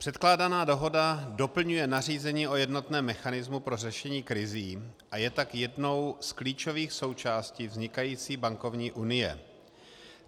Předkládaná dohoda doplňuje nařízení o jednotném mechanismu pro řešení krizí a je tak jednou z klíčových součástí vznikající bankovní unie.